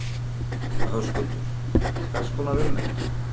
Höskuldur: Hvers konar ummerki?